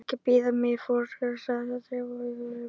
Ekki biðja mig fyrirgefningar- sagði Drífa í öngum sínum.